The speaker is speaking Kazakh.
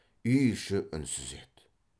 үй іші үнсіз еді